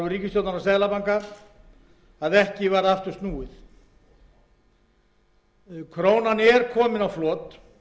ríkisstjórnar og seðlabanka að ekki varð aftur snúið krónan er komin á flot